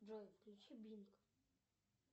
джой включи бинг